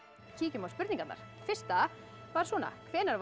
kíkjum á spurningarnar fyrsta var svona hvenær var